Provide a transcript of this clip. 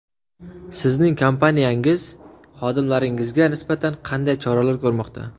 Sizning kompaniyangiz xodimlaringizga nisbatan qanday choralar ko‘rmoqda?